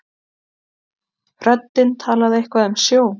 Röddin talaði eitthvað um sjó.